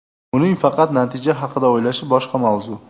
Uning faqat natija haqida o‘ylashi boshqa mavzu.